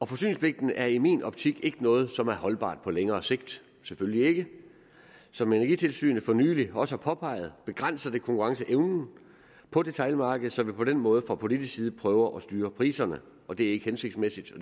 forsyningspligten er i min optik ikke noget som er holdbart på længere sigt selvfølgelig ikke som energitilsynet for nylig også har påpeget begrænser det konkurrenceevnen på detailmarkedet så vi på den måde fra politisk side prøver at styre priserne og det er ikke hensigtsmæssigt og